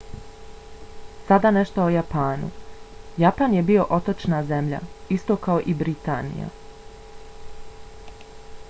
sada nešto o japanu. japan je bio otočna zemlja isto kao i britanija